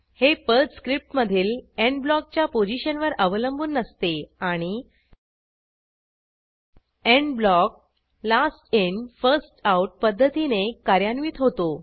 हे पर्ल स्क्रिप्टमधील एंड ब्लॉकच्या पोझिशनवर अवलंबून नसते आणि end block last in first out पध्दतीने कार्यान्वित होतो